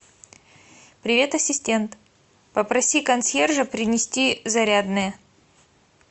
привет ассистент попроси консьержа принести зарядное